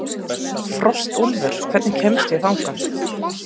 Frostúlfur, hvernig kemst ég þangað?